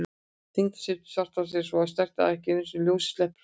Þyngdarsvið svarthols er svo sterkt að ekki einu sinni ljósið sleppur frá því.